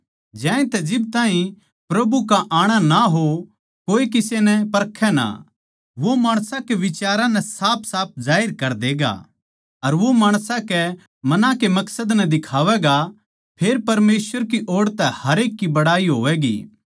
ज्यांतै जिब ताहीं प्रभु आणा ना हो कोए किसे नै परखै ना वो माणसां के बिचारां नै साफसाफ जाहिर कर देगा अर वो माणसां के मनां के मकसद नै दिखावैगा फेर परमेसवर की ओड़ तै हरेक की बड़ाई होवैगी